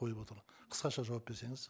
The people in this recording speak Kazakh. қойып отырмын қысқаша жауап берсеңіз